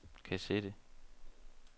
kassette